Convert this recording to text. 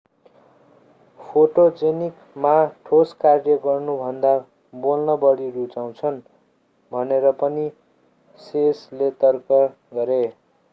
photogenic ma ठोस कार्य गर्नुभन्दा बोल्न बढी रुचाउँछन् भनेर पनि hsieh ले तर्क गरे